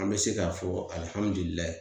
An be se k'a fɔ alihamudulilayi